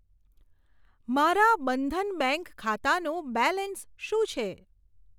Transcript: મારા બંધન બેંક ખાતાનું બેલેન્સ શું છે?